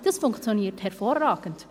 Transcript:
Das funktioniert hervorragend.